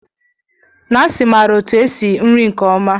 Nancy maara otu esi nri nke ọma.